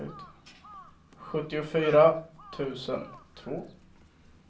sjuttiofyra tusen två